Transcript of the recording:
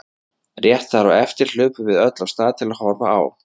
Rétt þar á eftir hlupum við öll af stað til að horfa á.